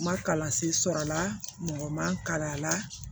Ma kalansen sɔrɔla mɔgɔ man kalan a la